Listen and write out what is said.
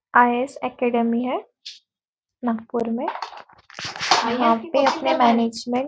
आय S academy है नागपुर में और यहाँ पर अपने मैनेजमेंट --